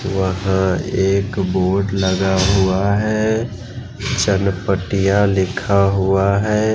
वहां एक बोट लगा हुआ है चनपटिया लिखा हुआ है।